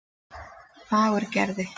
Fagurgerði